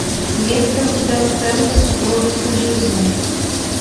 есть ли у тебя сцены из супружеской жизни